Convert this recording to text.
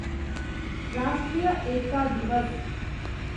राष्ट्रीय एकता दिवस